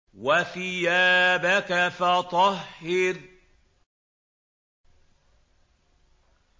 وَثِيَابَكَ فَطَهِّرْ